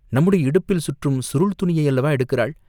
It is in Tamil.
நம்முடைய இடுப்பில் சுற்றும் சுருள் துணியையல்லவா எடுக்கிறாள்?